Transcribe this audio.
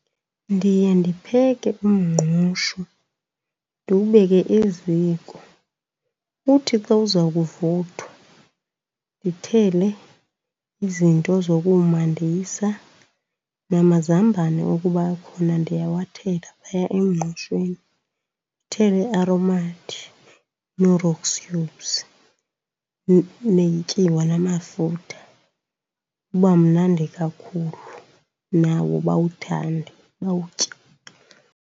Ndiye ndipheke umngqusho ndiwubeke eziko. Uthi xa uza kuvuthwa ndithele izinto zokuwumandisa, namazambane ukuba akhona ndiyawathela phaya emngqushweni. Ndithele iAromat, Knorrox cubes, netyiwa namafutha, uba mnandi kakhulu, nawo bayawuthande bawutye.